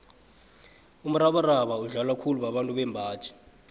umrabaraba udlalwa khulu babantu bembaji